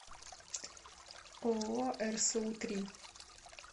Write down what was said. ооо рсу три